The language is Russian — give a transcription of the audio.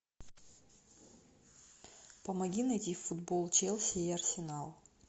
помоги найти футбол челси и арсенал